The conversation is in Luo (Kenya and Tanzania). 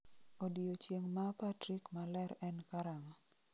Odiechieng' ma Patrik maler en karang'o